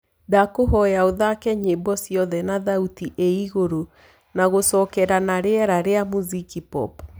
ndakũhoya ũthake nyĩmbo cĩothe na thaũtĩ ĩĩ ĩgũrũ na gucokera na rĩera ria muziki pop